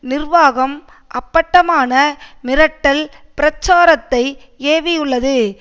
நிர்வாகம் அப்பட்டமான மிரட்டல் பிரச்சாரத்தை ஏவியுள்ளது